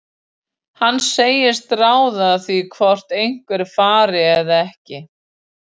Hann segist ráða því hvort einhver fari eða ekki.